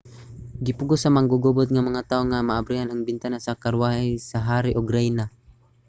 gipugos sa manggugubot nga mga tawo nga maabrihan ang bintana sa karwahe sa hari ug rayna